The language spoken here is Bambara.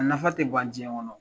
A nafa tɛ ban diɲɛ kɔnɔ.